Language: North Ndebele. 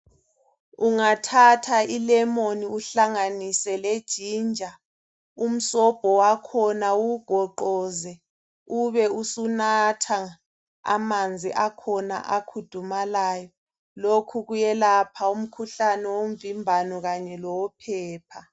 Ungathatha ilemoni uhlanganise lejinja umsobho wakhona uwugoqoze ube usunatha amanzi akhona akhudumalayo. Lokhu kuyelapha umkhuhlane womvimbano kanye lowophepha.